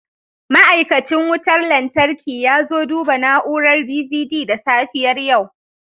Ma'aikacin wutar lantarki ya zo duba na'urar DVD da safiyar yau